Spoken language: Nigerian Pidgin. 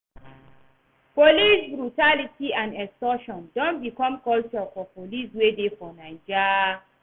Police brutality and extortion don become culture for police wey dey for Naija.